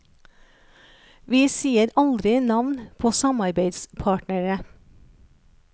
Vi sier aldri navn på samarbeidspartnere.